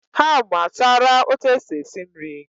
Ha amuatara otu esi esi nri